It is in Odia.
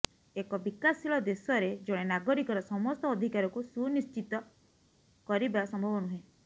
ଏକ ବିକାଶଶୀଳ ଦେଶରେ ଜଣେ ନାଗରିକର ସମସ୍ତ ଅଧିକାରକୁ ସୁନିଶ୍ଚିତ କରିବା ସମ୍ଭବ ନୁହେଁ